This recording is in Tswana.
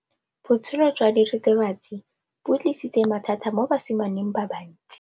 Botshelo jwa diritibatsi ke bo tlisitse mathata mo basimaneng ba bantsi.